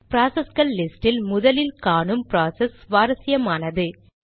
ப்ராசஸ்கள் லிஸ்ட் இல் முதலில் காணும் ப்ராசஸ் சுவாரசியமானது